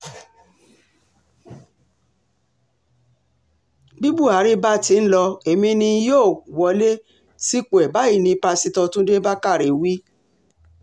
bí buhari bá ti ń lo èmi ni n óò wọlé sípò ẹ̀ báyìí ní pásítọ̀ túnde bákàrẹ̀ wí